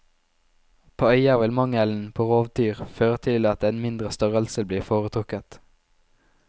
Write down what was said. På øyer vil mangelen på rovdyr føre til at en mindre størrelse blir foretrukket.